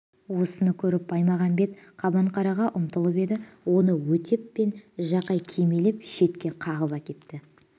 осыны көріп баймағамбет қабанқараға ұмтылып еді оны өтеп пен жақай кимелеп шетке қағып әкетті